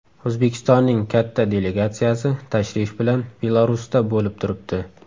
O‘zbekistonning katta delegatsiyasi tashrif bilan Belarusda bo‘lib turibdi.